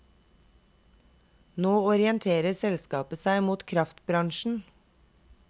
Nå orienterer selskapet seg mot kraftbransjen.